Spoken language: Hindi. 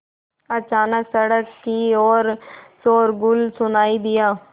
अचानक सड़क की ओर शोरगुल सुनाई दिया